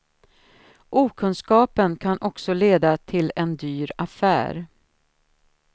Okunskapen kan också leda till en dyr affär.